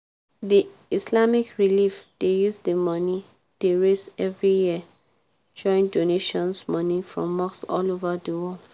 the islamic relief dey use di money dey raise every year join doantion money from mosque all over di world.